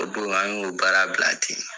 O don an y'o baara bila ten.